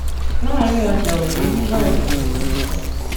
láàrin ọjà ọ̀jẹ̀ nìbàdàn ló ti ń sọ ọ́